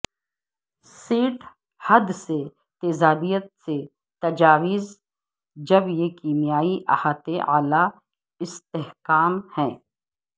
set حد سے تیزابیت سے تجاوز جب یہ کیمیائی احاطے اعلی استحکام ہے